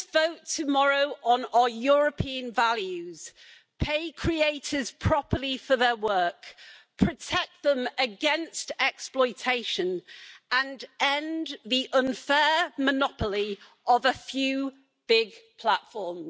We must vote tomorrow on our European values, pay creators properly for their work, protect them against exploitation and end the unfair monopoly of a few big platforms.